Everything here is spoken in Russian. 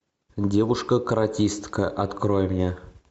девушка каратистка открой мне